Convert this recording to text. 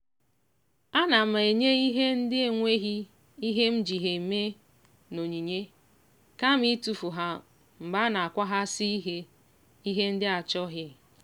ana m enye ihe ndị enweghị ihe m ji ha eme n'onyinye kama itufu ha mgbe a na-akwahasi ihe ihe ndị achọghị.